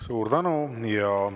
Suur tänu!